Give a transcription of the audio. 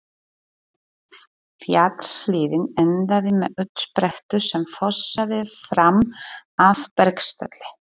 Fjallshlíðin endaði með uppsprettu sem fossaði fram af bergstalli.